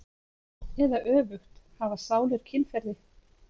Eða öfugt: hafa sálir kynferði?